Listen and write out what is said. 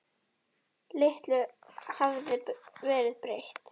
Litlu hafði verið breytt.